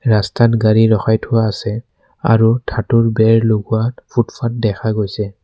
ৰাস্তাত গাড়ী ৰখাই থোৱা আছে আৰু ধাতুৰ বেৰ লগোৱা ফুটফাত দেখা গৈছে।